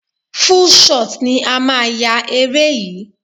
Full shot ni a máa yá eré yìí.